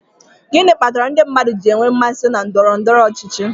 gịnị kpatara ndị mmadụ ji enwe mmasị na ndọrọ ndọrọ ọchịchị